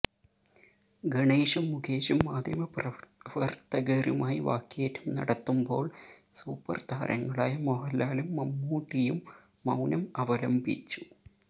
ഗണേഷും മുകേഷും മാധ്യമപ്രവർത്തകരുമായി വാക്കേറ്റം നടത്തുമ്പോൾ സൂപ്പർ താരങ്ങളായ മോഹൻലാലും മമ്മൂട്ടിയും മൌനം അവലംബിച്ചു